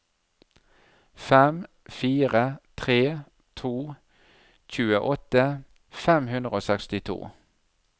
fem fire tre to tjueåtte fem hundre og sekstito